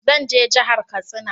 Zan je jahar Katsina